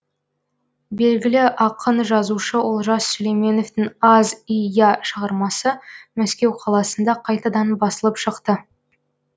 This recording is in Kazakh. белгілі ақын жазушы олжас сүлейменовтің аз и я шығармасы мәскеу қаласында қайтадан басылып шықты